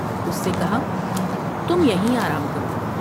اس سے کہا تم یہیں آرام کرو ۔